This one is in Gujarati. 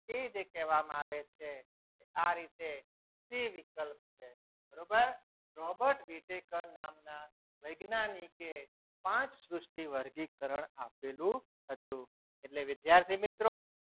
એ જે કહેવામાં આવે છે. આ રીતે સી વિકલ્પ છે બરોબર રોબર્ટ વિટેકર નામના વૈજ્ઞાનિકે પાંચ સૃષ્ટિ વર્ગીકરણ આપેલું હતું. એટલે વિદ્યાર્થી મિત્રો